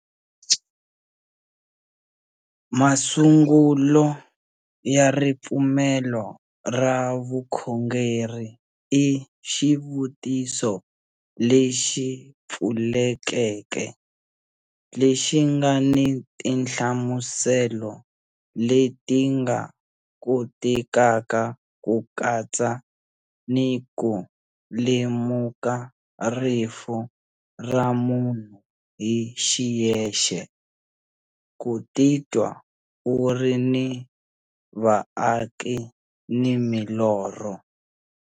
Masungulo ya ripfumelo ra vukhongeri i xivutiso lexi pfulekeke, lexi nga ni tinhlamuselo leti nga kotekaka ku katsa ni ku lemuka rifu ra munhu hi xiyexe, ku titwa u ri ni vaaki ni milorho.